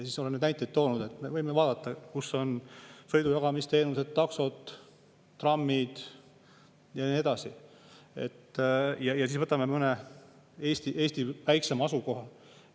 Ma olen neid näiteid toonud, et me vaatama, kus on sõidujagamisteenused, taksod, trammid ja nii edasi, ja siis mõne Eesti väiksema asukohaga.